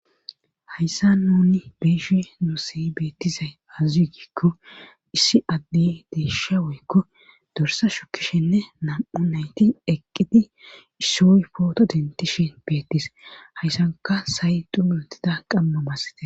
hayssa nuni beeshi nussiy beettizay azazuy gikko issi addi deeysha woykko dorsa shukkishenne nam7u nayti eqqidi issoy pooto dentishin beettis hayssanka sayxu mentida qamma bassite